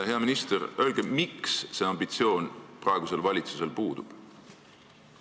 Hea minister, öelge, miks see ambitsioon praegusel valitsusel puudub!